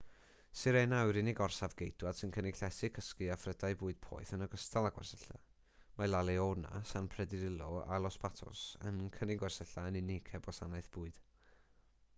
sirena yw'r unig orsaf geidwaid sy'n cynnig llety cysgu a phrydau bwyd poeth yn ogystal â gwersylla mae la leona san pedrillo a los patos yn cynnig gwersylla yn unig heb wasanaeth bwyd